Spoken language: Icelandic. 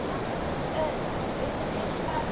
Örn var utan við sig.